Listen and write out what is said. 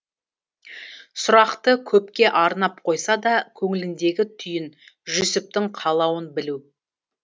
сұрақты көпке арнап қойса да көңіліндегі түйін жүсіптің қалауын білу